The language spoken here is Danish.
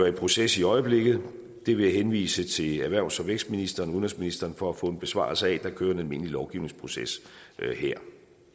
i proces i øjeblikket det vil jeg henvise til erhvervs og vækstministeren og udenrigsministeren for at få en besvarelse af der kører en almindelig lovgivningsproces her